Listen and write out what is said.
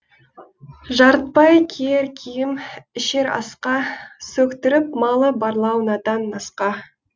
жарытпай киер киім ішер асқа сөктіріп малы барлау надан насқа